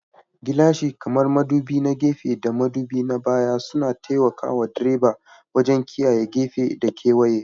Gilashin, kamar madubi na gefe da madubi na baya, suna taimaka wa direba wajen kiyaye gefe da kewaye.